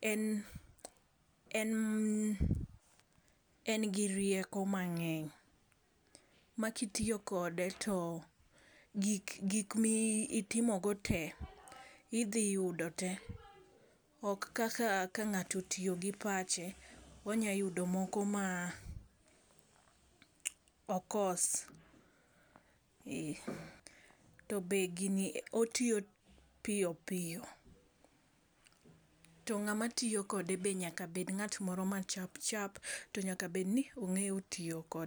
en en en gi rieko mang'eny makitiyo kode to gik gik mitimo go tee idhi yudo tee, ok kaka ka ng'ato tiyo gi pache onya yudo moko ma okos . To be gini otiyo piyo piyo to ng'ama tiyo kode be nyaka bed ng'at moro ma chapchap to nyaka obed ni ong'eyo tiyo kode.